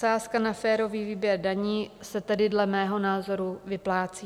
Sázka na férový výběr daní se tedy dle mého názoru vyplácí.